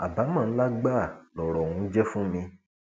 àbámọ ńlá gbáà lọrọ ọhún jẹ fún mi